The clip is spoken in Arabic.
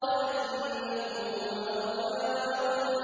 وَأَنَّهُ هُوَ أَغْنَىٰ وَأَقْنَىٰ